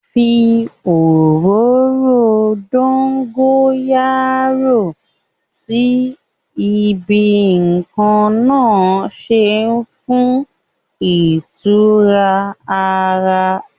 Fi òróró dógóyárò sí ibi tí nǹkan náà ṣe fún ìtura àwo ara